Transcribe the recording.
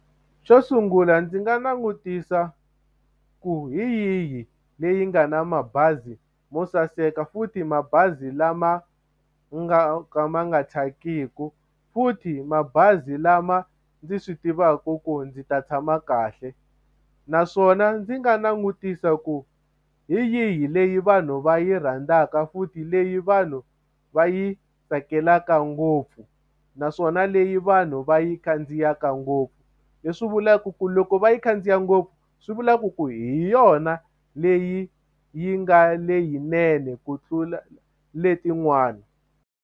Xo sungula ndzi nga langutisa ku hi yihi leyi nga na mabazi mo saseka futhi mabazi lama nga ka ma nga thyakiki futhi mabazi lama ndzi swi tivaka ku ndzi ta tshama kahle naswona ndzi nga langutisa ku hi yihi leyi vanhu va yi rhandzaka futhi leyi vanhu va yi tsakelaka ngopfu naswona leyi vanhu va yi yi khandziyaka ngopfu leswi vulaka ku loko va yi khandziya ngopfu swi vulaka ku hi yona leyi yi nga leyinene ku tlula letin'wana.